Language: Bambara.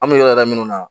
An bɛ yɔrɔ da minnu na